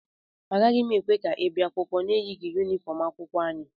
Agaghị m ekwe ka ị bịa akwụkwọ na-eyighị yunifọm akwụkwọ anyị